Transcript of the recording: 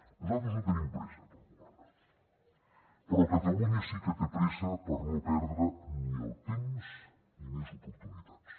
nosaltres no tenim pressa per governar però catalunya sí que té pressa per no perdre ni el temps ni més oportunitats